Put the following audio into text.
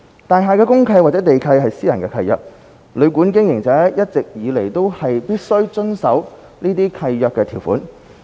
大廈公契或地契是私人契約，旅館經營者一直以來都必須遵守這些契約條款。